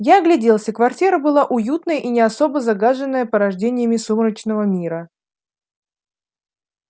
я огляделся квартира была уютная и не особо загаженная порождениями сумеречного мира